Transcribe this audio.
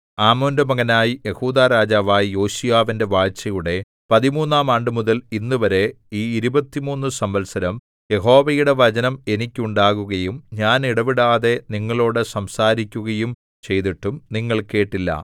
ആമോന്റെ മകനായി യെഹൂദാ രാജാവായ യോശീയാവിന്റെ വാഴ്ചയുടെ പതിമൂന്നാം ആണ്ടുമുതൽ ഇന്നുവരെ ഈ ഇരുപത്തിമൂന്നു സംവത്സരം യഹോവയുടെ വചനം എനിക്കുണ്ടാകുകയും ഞാൻ ഇടവിടാതെ നിങ്ങളോടു സംസാരിക്കുകയും ചെയ്തിട്ടും നിങ്ങൾ കേട്ടില്ല